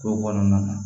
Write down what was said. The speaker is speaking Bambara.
Kow kɔnɔna na